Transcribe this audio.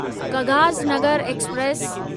Kagaznagar express